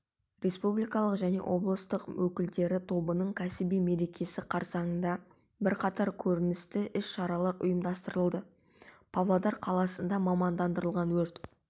республикалық және облыстық өкілдері тобының кәсіби мерекесі қарсаңында бірқатар көрнекті іс-шаралар ұйымдастырылды павлодар қаласында мамандандырылған өрт